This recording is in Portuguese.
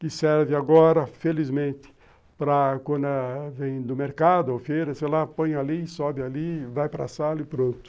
Que serve agora, felizmente, para quando vem do mercado ou feira, sei lá, põe ali, sobe ali, vai para sala e pronto.